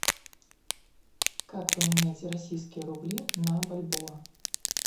как поменять российские рубли на бальбоа